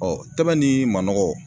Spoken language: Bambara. tɛbɛn ni manɔgɔ